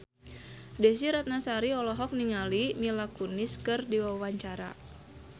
Desy Ratnasari olohok ningali Mila Kunis keur diwawancara